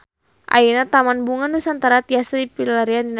Ayeuna Taman Bunga Nusantara tiasa dipilarian dina peta